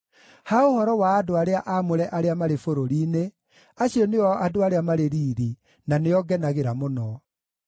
Ha ũhoro wa andũ arĩa aamũre arĩa marĩ bũrũri-inĩ, acio nĩo andũ arĩa marĩ riiri, na nĩo ngenagĩra mũno.